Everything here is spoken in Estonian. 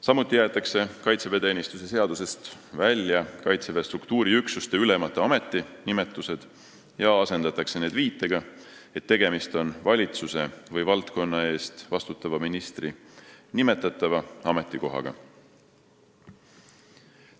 Samuti jäetakse kaitseväeteenistuse seadusest välja Kaitseväe struktuuriüksuste ülemate ametinimetused ja asendatakse need viitega, et tegemist on valitsuse või valdkonna eest vastutava ministri nimetatava ametikohaga.